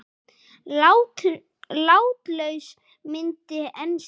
Látlaus mynd en sterk.